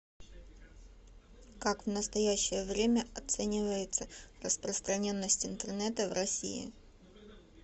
как в настоящее время оценивается распространенность интернета в россии